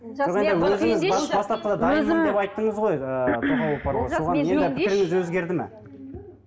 енді пікіріңіз өзгерді ме